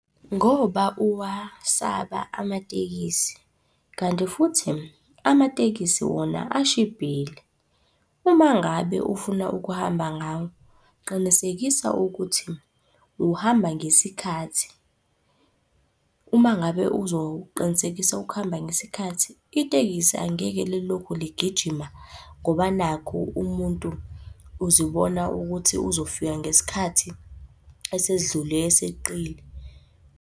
Ngoba uwasaba amatekisi, kanti futhi amatekisi wona ashibhile. Uma ngabe ufuna ukuhamba ngawo, qinisekisa ukuthi uhamba ngesikhathi. Uma ngabe uzoqinisekisa ukuhamba ngesikhathi, itekisi angeke lilokhu ligijima ngoba nakhu umuntu uzibona ukuthi uzofika ngesikhathi esedlulele eseqile.